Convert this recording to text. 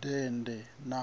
dende na